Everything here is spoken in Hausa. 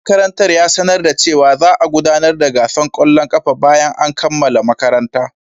Shugaban makarantar ya sanar da cewa za a gudanar da gasar kwallon kafa bayan an kammala makaranta.